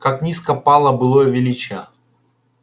как низко пало былое величие